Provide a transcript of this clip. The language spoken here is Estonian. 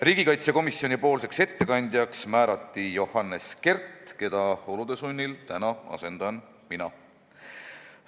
Riigikaitsekomisjoni ettekandjaks määrati Johannes Kert, keda olude sunnil täna asendan mina.